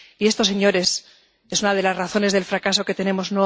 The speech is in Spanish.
Esta, señorías, es una de las razones del fracaso que tenemos.